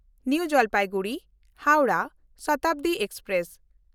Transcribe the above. new ᱡᱚᱞᱯᱟᱭᱜᱩᱲᱤ–ᱦᱟᱣᱲᱟᱦ Shatabdi express